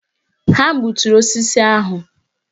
Ha gbuturu osisi ahụ.